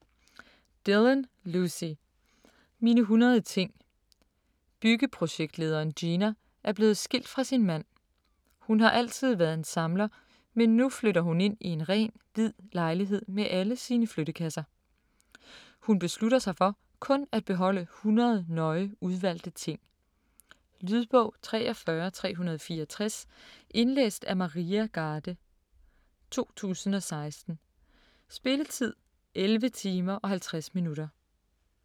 Dillon, Lucy: Mine 100 ting Byggeprojektlederen Gina er blevet skilt fra sin mand. Hun har altid været en samler, men nu flytter hun ind i en ren, hvid lejlighed med alle sine flyttekasser. Hun beslutter sig for kun at beholde 100 nøje udvalgte ting. Lydbog 43364 Indlæst af Maria Garde, 2016. Spilletid: 11 timer, 50 minutter.